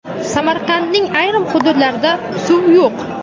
Samarqandning ayrim hududlarida suv yo‘q.